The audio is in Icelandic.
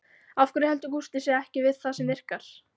Af hverju heldur Gústi sig ekki við það sem virkar?